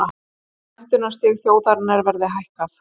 Menntunarstig þjóðarinnar verði hækkað